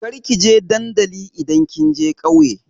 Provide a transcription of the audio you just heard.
Kar ki je dandali idan kin je ƙauye!